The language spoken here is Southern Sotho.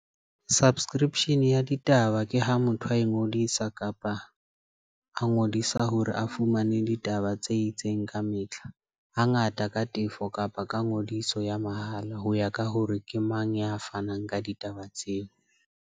Subscription ya ditaba ke ha motho a e ngodisa kapa a ngodisa hore a fumane ditaba tse itseng ka mehla. Ha ngata ka tefo kapa ka ngodiso ya mahala, ho ya ka hore ke mang ya fanang ka ditaba tseo.